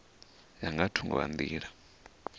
ya nga thungo ha nḓila